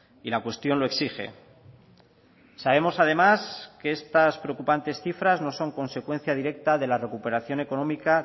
y la cuestión lo exige sabemos además que estas preocupantes cifras no son consecuencia directa de la recuperación económica